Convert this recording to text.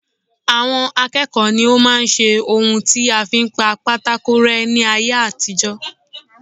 Àwọn akẹ́kọ̀ọ́ ní o máa ń ṣe ohun tí a fi ń pa pátákó rẹ́ ní ayé àtijó.